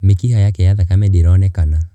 Mĩkiha yake ya thakame ndĩronekana.